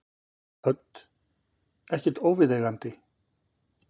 Hödd: Ekkert óviðeigandi?